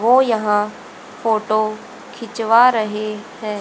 वो यहां फोटो खिंचवा रहे हैं।